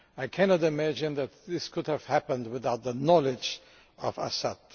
I cannot imagine that this could have happened without the knowledge of Assad.